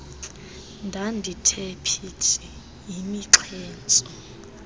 ndandithe phithi yimixhentso